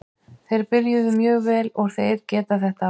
Þeir byrjuðu mjög vel og þeir geta þetta alveg.